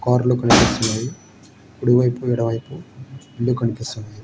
కార్లు కనిపిస్తున్నవి కుడివైపు ఎడమవైపు రెండు కనిపిస్తున్నాయి.